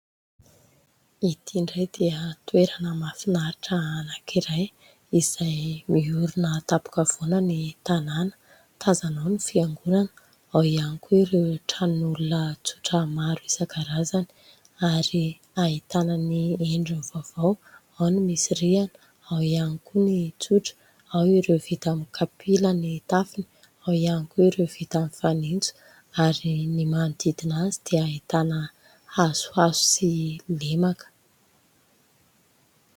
Ity indray dia toerana mahafinaritra anankiray izay miorina an-tampon-kavoana ny tanàna, tazana ao ny fiangonana, ao ihany koa ireo tranon'olona tsotra maro isan-karazany, ary ahitana ny endriny vaovao, ao ny misy rihana, ao ihany koa ny tsotra, ao ireo vita amin'ny kapila ny tafony, ao iany koa ireo vita amin'ny fanitso ary ny manodidina azy dia ahitana hazohazo sy lemaka.